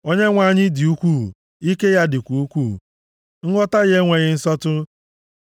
Onyenwe anyị dị ukwuu, ike ya dịkwa ukwuu; nghọta ya enweghị nsọtụ.